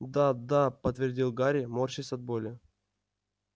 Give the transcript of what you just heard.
да да подтвердил гарри морщась от боли